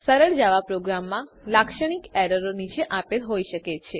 સરળ જાવા પ્રોગ્રામમાં લાક્ષણિક એરરો નીચે આપેલ હોઈ શકે છે